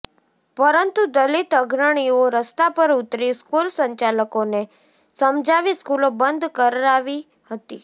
પરંતુ દલિત અગ્રણીઓ રસ્તા પર ઉતરી સ્કૂલ સંચાલકોને સમજાવી સ્કૂલો બંધ કરાવી હતી